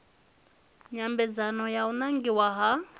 nyambedzano ya u nangiwa ha